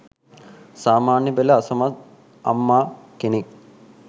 සාමාන්‍ය පෙළ අසමත් අම්මා කෙනෙක්